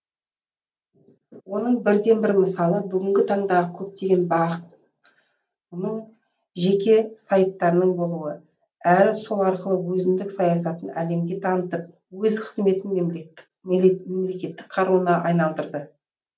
оның бірден бір мысалы бүгінгі таңдағы көптеген бақ ның жеке сайттарының болуы әрі сол арқылы өзіндік саясатын әлемге танытып өз қызметін мемлекеттік қаруына айналдырды